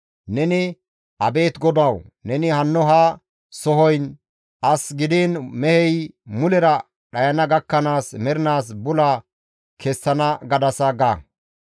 Neni, ‹Abeet GODAWU! Neni hanno ha sohoyin as gidiin mehey mulera dhayana gakkanaas mernaas bula kessana gadasa› ga.